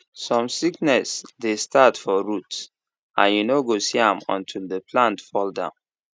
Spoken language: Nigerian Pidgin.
some sickness dey start for root and you no go see am until the plant fall down